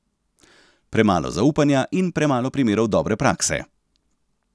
Premalo zaupanja in premalo primerov dobre prakse.